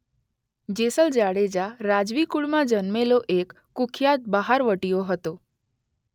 જેસલ જાડેજા-રાજવી કૂળમાં જન્મેલો એક કૂખ્યાત બહારવટીયો હતો.